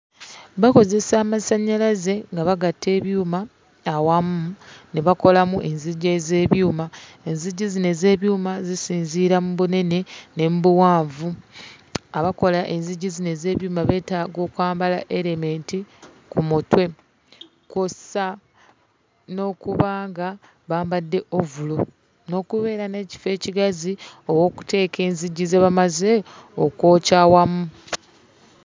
Bakozesa amasannyalaze nga bagatta ebyuma awamu ne bakolamu enzigi ez'ebyuma. Enzigi zino ez'ebyuma zisinziira mu bunene ne mu buwanvu. Abakola enzigi zino ez'ebyuma beetaaga okwambala erementi ku mutwe kw'ossa n'okuba nga bambadde ovulo n'okubeera n'ekifo ekigazi ow'okuteeka enzigi ze bamaze okwokya awamu.